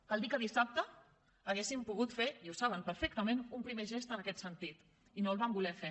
cal dir que dissabte haguessin pogut fer i ho saben perfectament un primer gest en aquest sentit i no el van voler fer